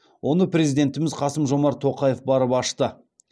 оны президентіміз қасым жомарт тоқаев барып ашты